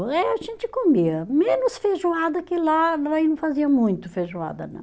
Eh a gente comia menos feijoada que lá, aí não fazia muito feijoada não.